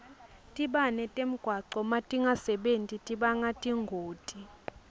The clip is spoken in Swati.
tibane temgwaco natingasebenti tibanga tingoti